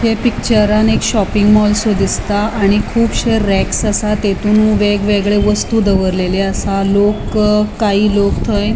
ये पिक्चरान एक शॉपिंग मालशे दिसता आणि कुबशे रेक्स असा आणि तांतुन वेगळे वेगळे वस्तू दवरलेले असा लोक काय लोक थंय --